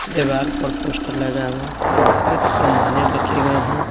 दिवार पर पोस्टर लगा हुआ कुछ सामाने रखे गए हैं।